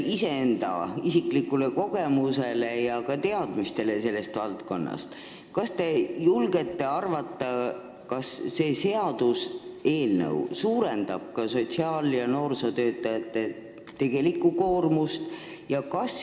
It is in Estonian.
Kas te toetudes iseenda kogemustele ja ka teadmistele selles valdkonnas arvate, et see seaduseelnõu suurendab sotsiaal- ja noorsootöötajate koormust?